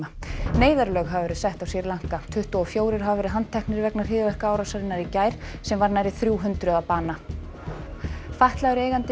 neyðarlög hafa verið sett á Sri Lanka tuttugu og fjórir hafa verið handteknir vegna hryðjuverkaárásarinnar í gær sem varð nærri þrjú hundruð að bana fatlaður eigandi